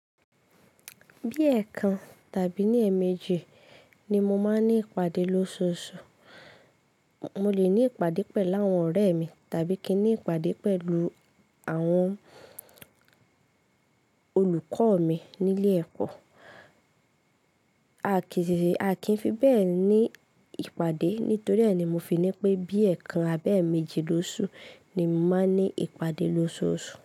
Bí ẹ̀ kan tàbí ní ẹ̀ méjì ni mo máa ń ní ìpàdé lóṣooṣù. Mo lè ní ìpàdé pẹ̀lú àwọn ọ̀rẹ́ mi tàbí kí n ní ìpàdé pẹ̀lú àwọn olùkọ́ mi nílé ẹ̀kọ́. A kìí fi bẹ́ẹ̀ ní ìpàdé nítorí ẹ́ ni mo fi ní pé bí ẹ̀ kan àbí ẹ́ méjì lóṣù ni mo máa ń ní ìpàdé lóṣooṣù.